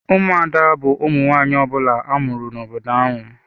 Ụmụada bu ụmụ nwanyị ọbula amụrụ n'obodo ahụ.